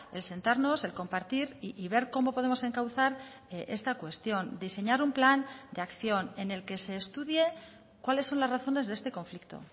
el sentarnos el compartir y ver cómo podemos encauzar esta cuestión diseñar un plan de acción en el que ese estudie cuáles son las razones de este conflicto